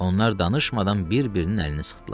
Onlar danışmadan bir-birinin əlini sıxdılar.